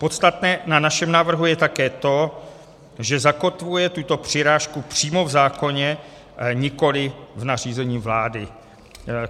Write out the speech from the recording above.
Podstatné na našem návrhu je také to, že zakotvuje tuto přirážku přímo v zákoně, nikoli v nařízení vlády.